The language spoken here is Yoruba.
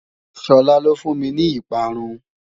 Shola ló fún mi ní ìparun